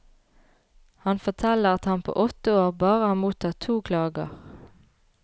Han forteller at han på åtte år bare har mottatt to klager.